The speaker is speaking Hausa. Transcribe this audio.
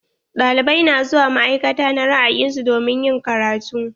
Ɗalibai na zuwa ma'aikata na ra'ayin su domin ƴin karatu.